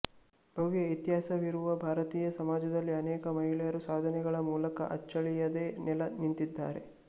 ಭವ್ಯ ಇತಿಹಾಸವಿರುವ ಭಾರತೀಯ ಸಮಾಜದಲ್ಲಿ ಅನೇಕ ಮಹಿಳೆಯರು ಸಾಧನೆಗಳ ಮೂಲಕ ಅಚ್ಚಳಿಯದೆ ನೆಲೆ ನಿಂತಿದ್ದಾರೆ